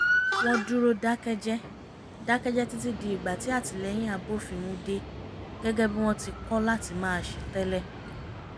wọ́n dúró dákẹ́jẹ́ dákẹ́jẹ́ títí di ìgbà tí àtilẹ́yìn abófin mu dé gẹ́gẹ́ bí wọ́n ti kọ́ láti máa ṣe tẹ́lẹ̀